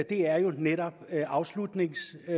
er jo netop afslutningsdebatten